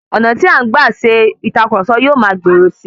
Ọ̀nà tí a ń gba ṣe ìtàkurọ̀sọ yóò ma gbòòrò si